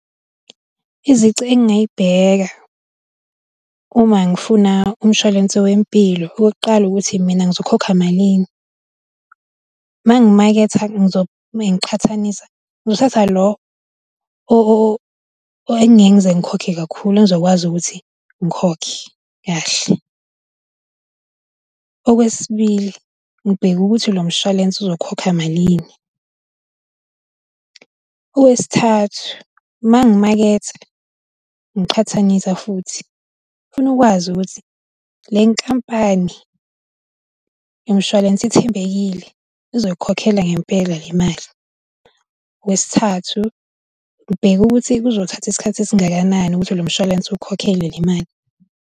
Izici engayibheka uma ngifuna umshwalense wempilo okokuqala ukuthi mina ngizokhokha malini, mangimaketha ngizo mengiqhathanisa, ngizothatha lo engingeke ngize ngikhokhe kakhulu engizokwazi ukuthi ngikhokhe kahle. Okwesibili ngibheke ukuthi lo mshwalense uzokhokha malini. Owesithathu uma ngimaketha ngiqhathanisa futhi ngifuna ukwazi ukuthi le nkampani yomshwalense ithembekile izoyikhokhela ngempela le mali. Owesithathu ngibheka ukuthi kuzothatha isikhathi esingakanani ukuthi lo mshwalense ukhokhele le mali.